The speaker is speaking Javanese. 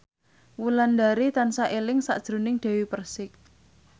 Wulandari tansah eling sakjroning Dewi Persik